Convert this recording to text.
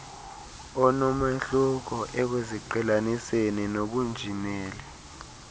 onomahluko ekuziqhelaniseni nobunjineli